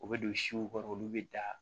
U bɛ don siw kɔrɔ olu be da